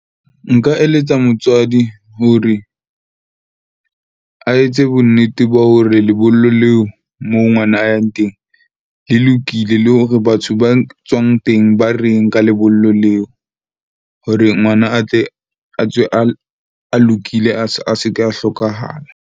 Nka eletsa motswadi hore, a etse bonnete ba hore lebollo leo moo ngwana a yang teng le lokile le hore batho bang tswang teng ba reng ka lebollo leo. Hore ngwana a tle a tswe a lokile, a se ke a hlokahala.